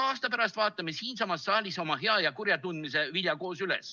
Aasta pärast vaatame siinsamas saalis oma hea ja kurja tundmise vilja koos üle.